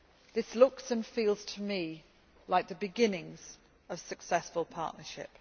This looks and feels to me like the beginnings of successful partnership.